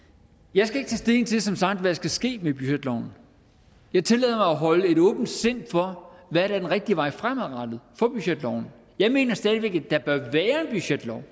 jeg skal som sagt der skal ske med budgetloven jeg tillader mig at holde et åbent sind for hvad der er den rigtige vej fremadrettet for budgetloven jeg mener stadig væk at der bør være en budgetlov